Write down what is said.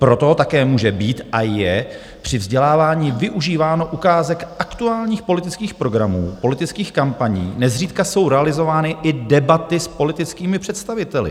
Proto také může být a je při vzdělávání využíváno ukázek aktuálních politických programů, politických kampaní, nezřídka jsou realizovány i debaty s politickými představiteli.